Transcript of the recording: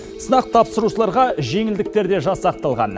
сынақ тапсырушыларға жеңілдіктер де жасақталған